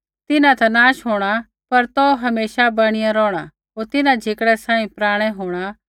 तिन्हां ता नाश होंणा पर तौ हमेशा बणी रौहणा होर तिन्हां झिकड़ै सांही पराणै होंणा